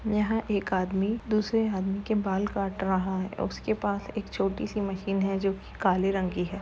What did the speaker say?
यहाँ एक आदमी दूसरे आदमी के बाल काट रहा है उसके पास एक छोटी सी मशीन है जो कि काले रंग की है।